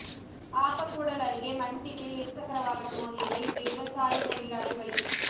ஆப்பக்கூடல் அருகே மண் திட்டில் இருசக்கர வாகனம் மோதியதில் விவசாய தொழிலாளி பலி